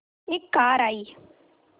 एक कार आई